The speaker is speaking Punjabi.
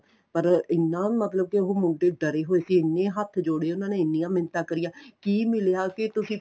ਪਰ ਇੰਨਾਂ ਮਤਲਬ ਕੇ ਉਹ ਮੁੰਡੇ ਡਰੇ ਹੋਏ ਸੀ ਇਹਨੇ ਹੱਥ ਜੋੜੇ ਉਹਨਾ ਨੇ ਇਹਨੀਆਂ ਮਿੰਨਤਾਂ ਕਰੀਆਂ ਕੀ ਮਿਲਿਆ ਕੇ ਤੁਸੀਂ